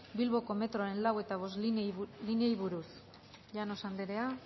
bilboko metroaren lau eta bostgarrena lineei buruz llanos andrea